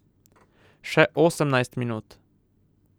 Še osemnajst minut.